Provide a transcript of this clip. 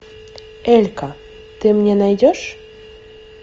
элька ты мне найдешь